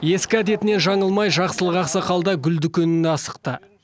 ескі әдетінен жаңылмай жақсылық ақсақал да гүл дүкеніне асықты